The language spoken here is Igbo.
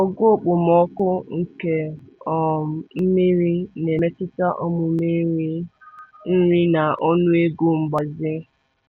Ogo okpomọkụ nke um mmiri na-emetụta omume nri nri na ọnụego mgbaze.